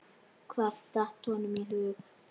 Hvað datt honum í hug?